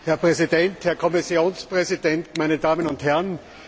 Herr Präsident, Herr Kommissionspräsident, meine Damen und Herren!